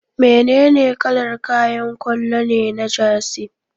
Menene kalar kayan kwallo ne na Jersey?